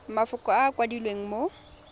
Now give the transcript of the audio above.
mafoko a a kwadilweng mo